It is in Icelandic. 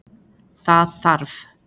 Það þarf